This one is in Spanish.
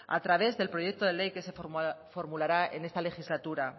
a través del proyecto de ley que se formulará en esta legislatura